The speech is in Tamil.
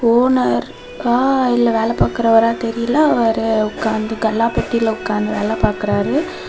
ஓனர் ரா இல்ல வேல பாக்குறவரா தெரில அவரு உக்காந்து கல்லா பெட்டில உக்காந்து வேல பாக்குறாரு.